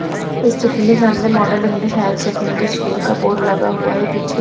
इस चित्र में सामने model English higher secondary school का बोर्ड लगा हुआ हैं पीछे--